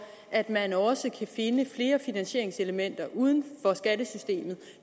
at man også kan finde flere finansieringselementer uden for skattesystemet